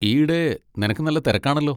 ഈയിടെ നിനക്ക് നല്ല തിരക്കാണല്ലോ.